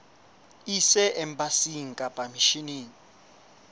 e ise embasing kapa misheneng